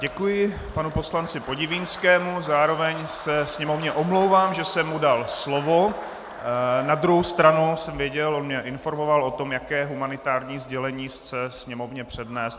Děkuji panu poslanci Podivínskému, zároveň se Sněmovně omlouvám, že jsem mu dal slovo, na druhou stranu jsem věděl, on mě informoval o tom, jaké humanitární sdělení chce Sněmovně přednést.